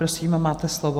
Prosím, máte slovo.